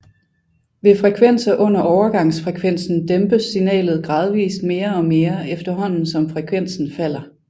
Ved frekvenser under overgangsfrekvensen dæmpes signalet gradvist mere og mere efterhånden som frekvensen falder